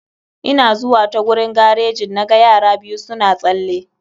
Ina zuwa ta gurin garejin na ga yara biyu suna tsalle.